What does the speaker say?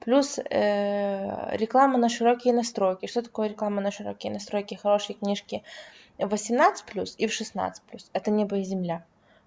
плюс реклама на широкие настройки что такое реклама на широкие настройки хорошие книжки восемнадцать плюс и в шестнадцать плюс это небо и земля